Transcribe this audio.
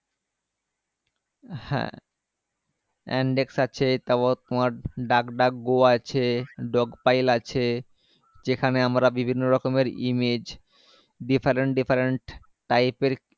হ্যাঁ yandex আছে তারপর তোমার duck duck go আছে dogpile আছে যেখানে আমরা বিভিন্য রকমের image different different pipe এর